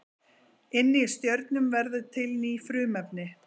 Inni í stjörnum verða til ný frumefni.